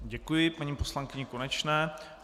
Děkuji paní poslankyni Konečné.